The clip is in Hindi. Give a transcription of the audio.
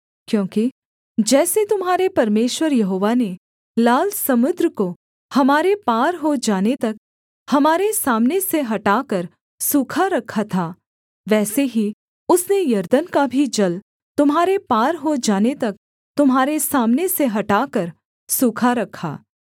क्योंकि जैसे तुम्हारे परमेश्वर यहोवा ने लाल समुद्र को हमारे पार हो जाने तक हमारे सामने से हटाकर सूखा रखा था वैसे ही उसने यरदन का भी जल तुम्हारे पार हो जाने तक तुम्हारे सामने से हटाकर सूखा रखा